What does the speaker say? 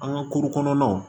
An ka kuru kɔnɔnaw